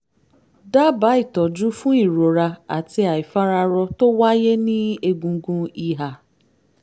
dábàá ìtọ́jú fún ìrora àti àìfararọ tó wáyé ní egungun ìhà